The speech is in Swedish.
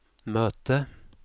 möte